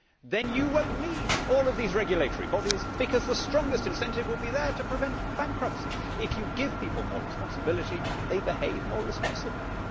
then you will not need all of these regulatory bodies, because the strongest incentive will be there to prevent bankruptcy. If you give people more responsibility, they behave more responsibly.